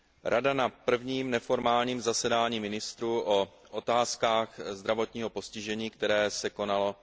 Rada na prvním neformálním zasedání ministrů o otázkách zdravotního postižení, které se konalo